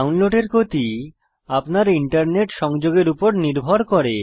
ডাউনলোডের গতি আপনার ইন্টারনেট সংযোগের উপর নির্ভর করে